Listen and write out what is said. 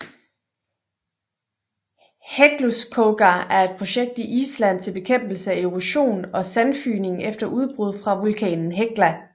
Hekluskogar er et projekt i Island til bekæmpelse af erosion og sandfygning efter udbrud fra vulkanen Hekla